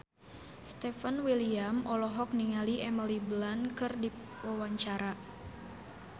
Stefan William olohok ningali Emily Blunt keur diwawancara